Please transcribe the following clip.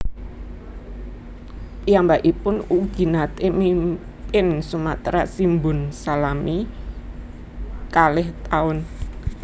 Piyambakipun ugi naté mimpin Sumatra Shimbun salami kalih taun